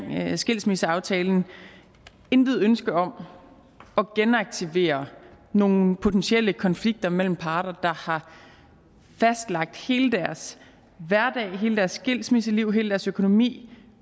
skilsmisseaftalen intet ønske om at genaktivere nogle potentielle konflikter mellem parter der har fastlagt hele deres hverdag hele deres skilsmisseliv hele deres økonomi